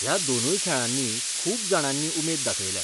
ह्या दोनूय खेळांनी खूब जाणांनी उमेद दाखयल्या.